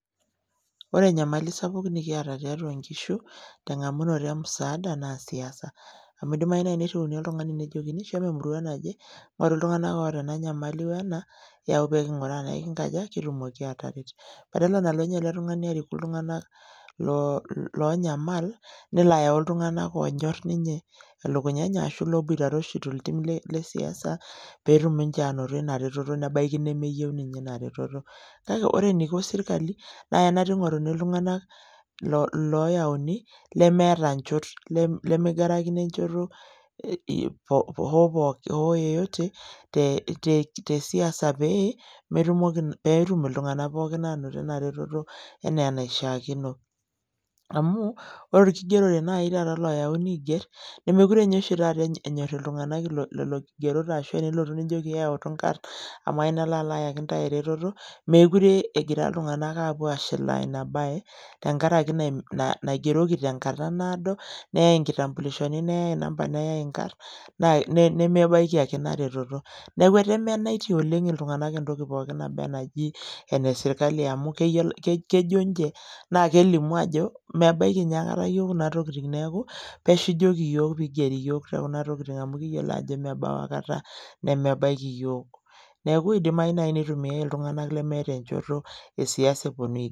Ore enyamali sapuk nikiata tiatua nkishu teng'amunoto emusaada naa siasa amu idimayu naai nirriuni oltung'ani nejokini shomo emurua naje ng'oruiltung'anak oota ena nyamali o ena yau pee king'ura enaa kingaja, kitumoki aataret badala nalo ninye ele tung'ani ariku iltung'anak loonyamal nelo ayau iltung'anak oonyorr ninye elukunya enye ashu ilooboitare oshi toltim le siasa pee etumoki aanoto ina retoto nebaiki nemeyieu ninye ina reteto kake ore eniko sirkali naa kenaata ingoruni iltung'anak ooyauni lemeeta nchot lemigarakino enchoto hoo yeyote te siasa pee eetum iltung'anak pookin aanoto ina reteto enaa enaishiakino amu ore orkigerore nai oyauni aigerr meekure oshi taata enyorr iltung'anak lelo kigerot ashu ilotu nijoki eyautu nkarrn amu ayieu nalo ayaki ntae ereteto, meekure egira iltung'anak aapuo aashilaa ina baye tenkaraki naigeroki tenkata naado neyai inkitambulishoni neyai number neyai nkarrn nemebaiki ake ina reteto, neeku etemenaitie oleng' iltung'anak entoki poookin naji ene sirkali amu kejo ninche naa kelimu ajo mebaiki ninye akata iyiook kuna tokitin neeku pesho ijoki iyiook pee igeri iyiook te kuna tokitin amu mebau aikata abaiki iyiook neeku idimayu naai nitumiai iltung'anak lemeeta enchoto e siasa...